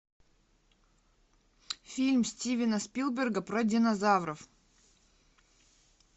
фильм стивена спилберга про динозавров